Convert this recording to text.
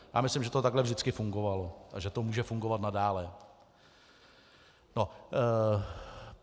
Já myslím, že to takhle vždycky fungovalo a že to může fungovat nadále.